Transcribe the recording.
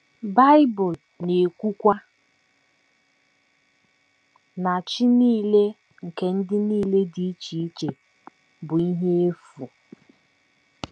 Bible na - ekwukwa na “ chi nile nke ndị nile dị iche iche bụ ihe efu. ”